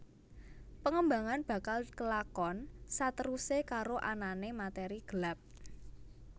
Pengembangan bakal dikelakon saterusé karo anané materi gelap